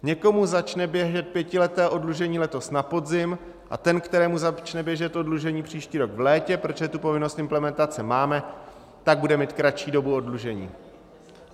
Někomu začne běžet pětileté oddlužení letos na podzim a ten, kterému začne běžet oddlužení příští rok v létě, protože tu povinnost implementace máme, tak bude mít kratší dobu oddlužení.